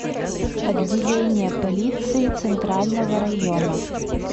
отделение полиции центрального района